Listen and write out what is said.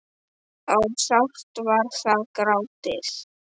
og sárt var þar grátið.